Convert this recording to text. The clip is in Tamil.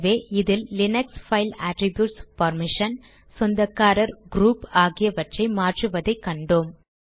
ஆகவே இதில் லீனக்ஸ் பைல் அட்ரிப்யூட்ஸ் பெர்மிஷன் சொந்தக்காரர் க்ரூப் ஆகியவற்றை மாற்றுவதை கண்டோம்